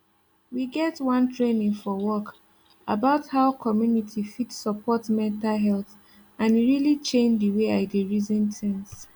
we get one training for work about how community fit support mental health and e really change the way i dey reason things